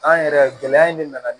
An yɛrɛ gɛlɛya in de nana